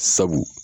Sabu